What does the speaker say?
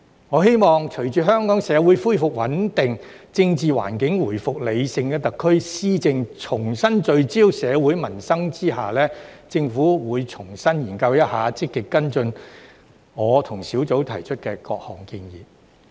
我希望在隨着香港社會恢復穩定，政治環境回復理性，特區施政重新聚焦社會民生的情況下，政府會重新研究、積極跟進我和工作小組提出的各項建議。